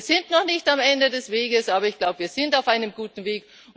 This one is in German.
Wir sind noch nicht am Ende des Weges, aber wir sind auf einem guten Weg.